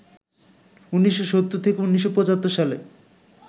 ১৯৭০-১৯৭৫ সালে